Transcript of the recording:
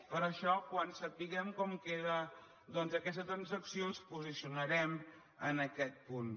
per això quan sapiguem com queda doncs aquesta transacció ens posicionarem en aquest punt